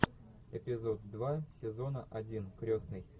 эпизод два сезона один крестный